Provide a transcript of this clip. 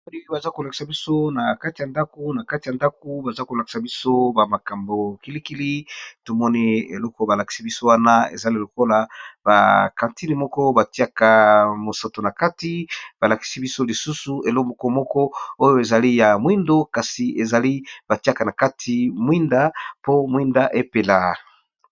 Baza kolakisa biso na kati ya ndako na kati ya ndako baza kolakisa biso ba makambo kilikili tomoni eloko balakisi biso wana ezali lokola bakantine moko batiaka mosato na kati balakisi biso lisusu elomoko moko oyo ezali ya mwindo kasi ezali batiaka na kati mwinda po mwinda epela.